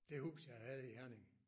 Det hus jeg havde i Herning